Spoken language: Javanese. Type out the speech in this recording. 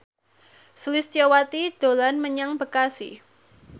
Sulistyowati dolan menyang Bekasi